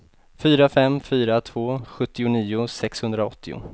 fyra fem fyra två sjuttionio sexhundraåttio